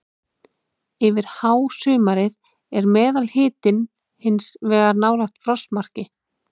Yfir hásumarið er meðalhitinn hins vegar nálægt frostmarki.